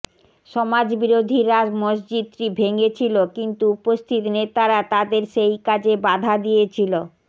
সমাজবিরোধীরা মসজিদটি ভেঙেছিল কিন্তু উপস্থিত নেতারা তাদের সেই কাজে বাধা দিয়েছিল